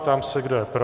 Ptám se, kdo je pro.